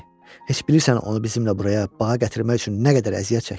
Heç bilirsən onu bizimlə buraya baha gətirmək üçün nə qədər əziyyət çəkdim?